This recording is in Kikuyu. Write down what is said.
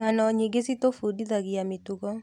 Ng'ano nyingĩ citũbundithagia mĩtugo.